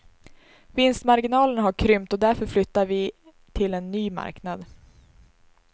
Vinstmarginalerna har krympt och därför flyttar vi till en ny marknad.